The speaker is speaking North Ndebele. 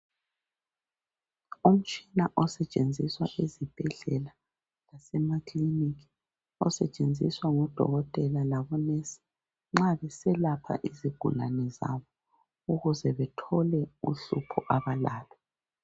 Umtshina osetshenziswa ezibhedlela lasemakiliniki osetshenziswa ngodokotela labomongikazi nxa beselapha izigulane zabo ukuze bethole uhlupho abalalo